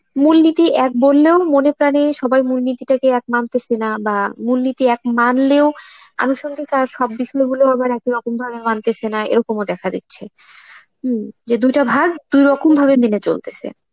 মূলনীতি এক বললেও মনে প্রানে সবাই মূলনীতি তাকে এক মানতেসে না বা মূলনীতি এক মানলেও অনুসন্ধিক একই রকম ভাবে মানতেসে না এরকমও দেখা দিচ্ছে. হম যে দুটা ভাগ দু'রকম ভাবে মেনে চলতেসে.